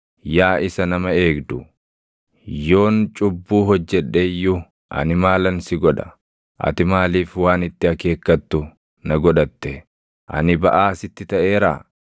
Yaa isa nama eegdu, yoon cubbuu hojjedhe iyyuu ani maalan si godha? Ati maaliif waan itti akeekkattu na godhatte? Ani baʼaa sitti taʼeeraa?